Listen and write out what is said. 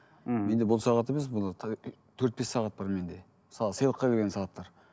ммм менде бұл сағат емес төрт бес сағат бар менде мысалы сыйлыққа берген сағаттар